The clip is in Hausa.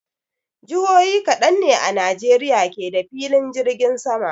Jihohi kaɗan ne a Najeriya ke da filin jirgin sama.